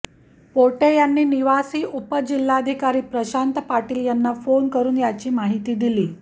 पोटे यांनी निवासी उपजिल्हाधिकारी प्रशांत पाटील यांना फोन करुन याची माहिती दिली